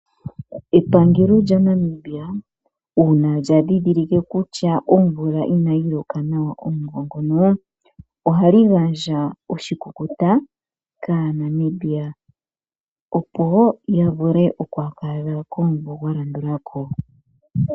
Epangelo lya Namibia uuna lya dhidhilike kutya omvula inayi loka nawa omumvo ngoka , ohali gandja oshikukuta kaanamibia opo ya vule oku adha komumvo gwa landulako.